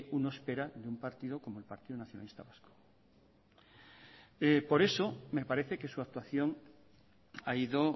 uno espera de un partido como el partido nacionalista vasco por eso me parece que su actuación ha ido